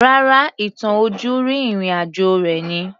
Rárá, ìtàn ojúrí ìrìn àjò rẹ̀ ni